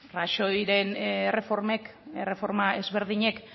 rajoyren erreformek erreforma ezberdinek